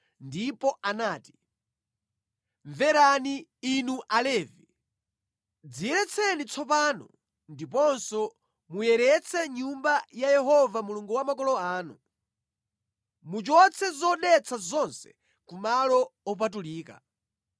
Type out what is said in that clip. ndipo anati: “Mverani, inu Alevi! Dziyeretseni tsopano ndiponso muyeretse Nyumba ya Yehova Mulungu wa makolo anu. Muchotse zodetsa zonse ku malo opatulika.